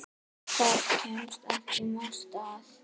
Þar kemst ekki margt að.